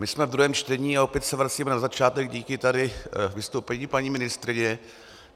My jsme v druhém čtení a opět se vracíme na začátek díky tady vystoupení paní ministryně.